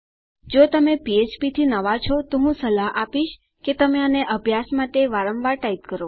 જો તમે ફ્ફ્પ થી નવા છો તો હું સલાહ આપીશ કે તમે આને અભ્યાસ માટે વારંવાર ટાઈપ કરો